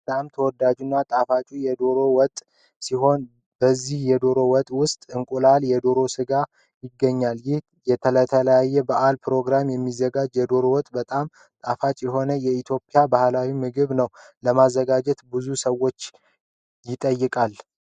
በጣም ተወዳጁና ጣፋጩ የሆነው የዶሮ ወጥ ሲሆን በዚህ የዶሮ ወጥ ውስጥ እንቁላልና የዶሮ ስጋ ይገኛል። ይህ ለተለያዩ በዓላትና ፕሮግራሞች የሚዘጋጅ የዶሮ ወጥ በጣም ጣፋጭ የሆነ የኢትዮጵያን ባህላዊ ምግብ ነው። ለማዘጋጀትም ብዙ ዎችወችን ይጠይቃል።